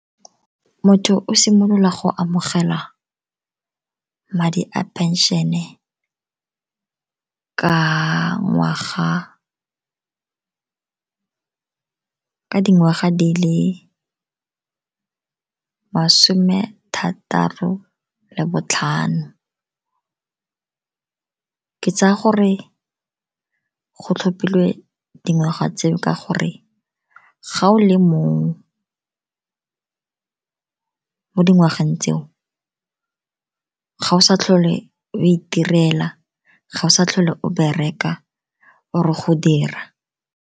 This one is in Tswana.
Motho o simolola go amogela madi a phenšene ka dingwaga di le masome thataro le botlhano. Ke tsaya gore ke go tlhophilwe dingwaga tseo ka gore ga o le mo dingwageng tseo ga o sa tlhole o itirela, ga o sa tlhole o bereka or-e go dira.